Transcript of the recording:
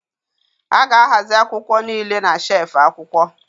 A ga-ahazi akwụkwọ niile na shelfụ̀ akwụkwọ.